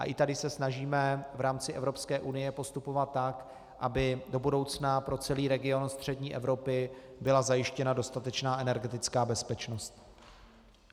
A i tady se snažíme v rámci Evropské unie postupovat tak, aby do budoucna pro celý region střední Evropy byla zajištěna dostatečná energetická bezpečnost.